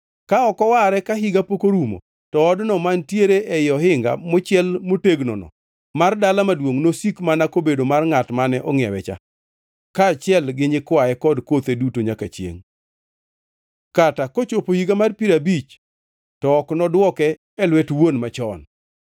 Ka ok oware ka higa pok orumo, to odno mantiere ei ohinga mochiel motegnono mar dala maduongʼ nosik mana kobedo mar ngʼat mane ongʼiewecha, kaachiel gi nyikwaye kod kothe duto nyaka chiengʼ. Kata kochopo higa mar piero abich to ok nodwoke e lwet wuon machon.